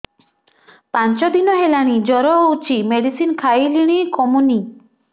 ପାଞ୍ଚ ଦିନ ହେଲାଣି ଜର ହଉଚି ମେଡିସିନ ଖାଇଲିଣି କମୁନି